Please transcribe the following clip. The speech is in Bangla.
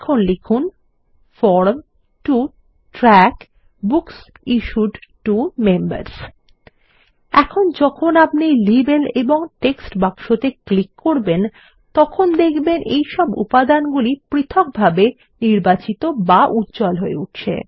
এরপর লিখুন form to track books issued to members এখন যখন আপনি লেবেল এবং টেক্সট বাক্সতে ক্লিক করবেন তখন দেখবেন যে এইসব উপাদানগুলি পৃথকভাবে নির্বাচিত বা উজ্জ্বল হয়ে উঠছে